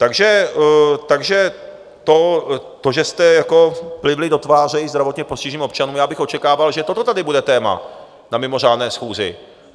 Takže to, že jste plivli do tváře i zdravotně postiženým občanům, já bych očekával, že toto tady bude téma na mimořádné schůzi.